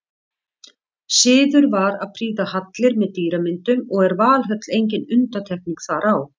Siður var að prýða hallir með dýramyndum og er Valhöll engin undantekning þar á.